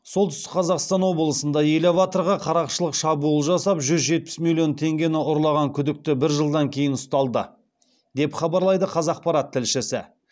солтүстік қазақстан облысында элеваторға қарақшылық шабуыл жасап жүз жетпіс миллион теңгені ұрлаған күдікті бір жылдан кейін ұсталды деп хабарлайды қазақпарат тілшісі